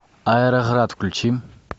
аэроград включи